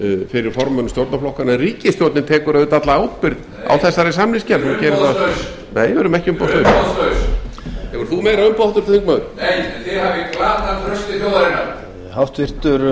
fyrir formönnum stjórnarflokkanna en ríkisstjórnin tekur auðvitað alla ábyrgð á þessari samningsgerð hún gerir það hún er umboðslaus hefur þú meira umboð háttvirtur þingmaður nei en þið hafið glatað trausti þjóðarinnar